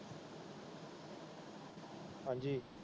ਹਾਜੀ।